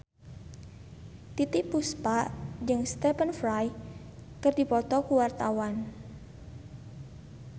Titiek Puspa jeung Stephen Fry keur dipoto ku wartawan